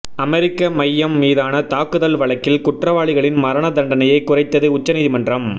அமெரிக்க மையம் மீதான தாக்குதல் வழக்கில் குற்றவாளிகளின் மரண தண்டனையை குறைத்தது உச்சநீதிமன்றம்